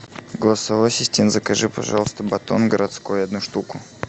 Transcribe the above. голосовой ассистент закажи пожалуйста батон городской одну штуку